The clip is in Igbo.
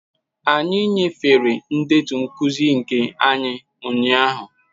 Anyị nyefere ndetu nkuzi nke anyị ụnyahụ.